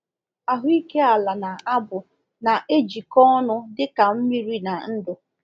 Ahụike ala na abụ na-ejikọ ọnụ dị ka mmiri na ndụ.